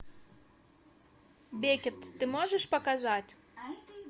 бекет ты можешь показать